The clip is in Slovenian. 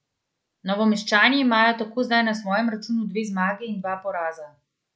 Novomeščani imajo tako zdaj na svojem računu dve zmagi in dva poraza.